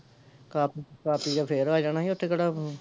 ਖਾ ਖਾ ਪੀਕੇ ਫੇਰ ਆ ਜਾਣਾ ਸੀ ਓਥੇ ਕਿਹੜਾ